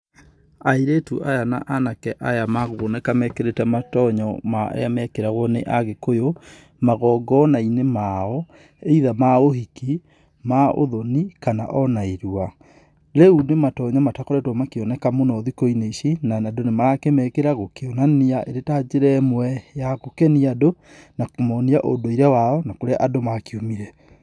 Airĩtu aya na anake aya makũoneka mekĩrite matonyo marĩa mekĩragwo nĩ agikuyu, magongona-inĩ mao either ma uhĩki, ma ũthoni kana ona ĩrũa. Rĩu nĩ matonyo matakoretwo makĩoneka mũno thĩkũ-inĩ icĩ na andũ nĩmarakĩmekira gũkĩonania ĩrĩ ta njĩra ĩmwe ya gũkenĩa andũ na kũmonĩa ũnduĩre wao na kũrĩa andũ makĩũmire.